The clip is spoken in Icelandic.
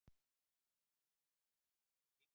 Líkamlega erfiðasta íþrótt í heimi?